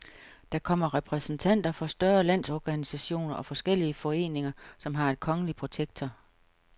Der kommer repræsentanter for større landsorganisationer og forskellige foreninger, som har en kongelige protektor.